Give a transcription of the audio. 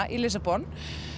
í Lissabon